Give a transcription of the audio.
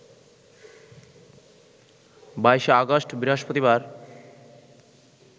২২ August, বৃহস্পতিবার